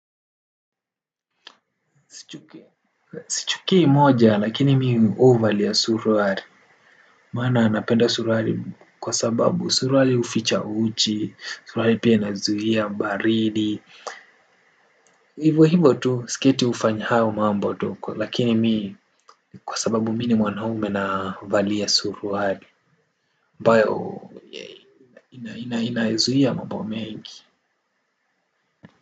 Sichukii moja lakini mimi huvalia suruali. Maana napenda suruali kwa sababu suruali uficha uchi suruali pia nazuia baridi. Hivo hivo tu siketu ufanya hayo mambo tu. Lakini mimi kwa sababu mimi ni mwanaume navalia suruali ambayo inaizuia mambo mengi.